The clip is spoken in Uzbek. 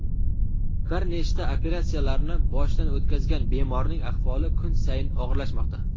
Bir nechta operatsiyalarni boshdan o‘tkazgan bemorning ahvoli kun sayin og‘irlashmoqda.